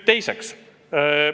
Teiseks.